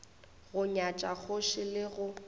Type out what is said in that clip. go nyatša kgoši ke go